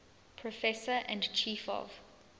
professor and chief of